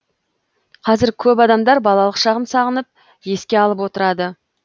қазір көп адамдар балалық шағын сағынып еске алып отырады